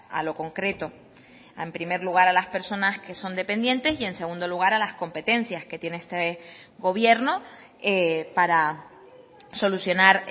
a lo concreto en primer lugar a las personas que son dependientes y en segundo lugar a las competencias que tiene este gobierno para solucionar